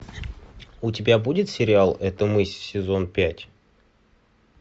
у тебя будет сериал это мы сезон пять